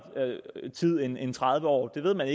tid end end tredive år det ved man